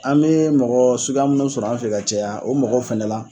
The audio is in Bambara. An me mɔgɔ suguya munnu sɔrɔ an fe yan ka caya o mɔgɔ fɛnɛ la